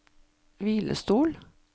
hvilestol